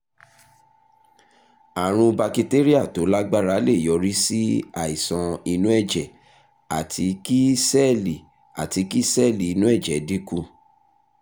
àrùn bakitéríà tó lágbára lè yọrí sí àìsàn inú ẹ̀jẹ̀ àti kí sẹ́ẹ̀lì àti kí sẹ́ẹ̀lì inú ẹ̀jẹ̀ dínkù